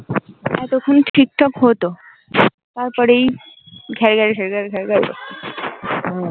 এতক্ষন ঠিক ঠাক হতো তারপরেই ঘের ঘের ঘের